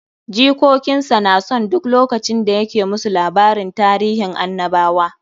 Jikokin sa na son duk lokacin da ya ke musu labarin tarihin annabawa.